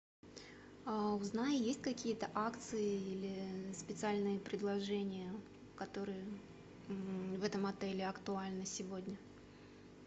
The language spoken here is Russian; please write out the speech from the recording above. узнай есть какие то акции или специальные предложения которые в этом отеле актуальны сегодня